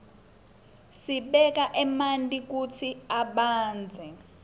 sibeka manti kutsi abandze